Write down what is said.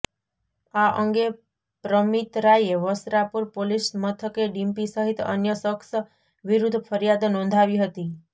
આ અંગે પ્રમિત રાયે વસ્ત્રાપુર પોલીસ મથકે ડિમ્પી સહિત અન્ય શખ્સ વિરૃદ્ધ ફરિયાદ નોંધાવી હતી